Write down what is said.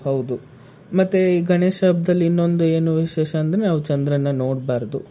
ಹೌದು.ಮತ್ತೆ ಈ ಗಣೇಶ ಹಬ್ಬದಲ್ಲಿ ಇನ್ನೊಂದು ಏನು ವಿಶೇಷ ಅಂದ್ರೆ ನಾವು ಚಂದ್ರನ್ನ ನೋಡ್ಬಾರ್ದು.